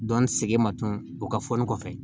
Dɔnni sege ma tunu o ka fɔ ni kɔfɛ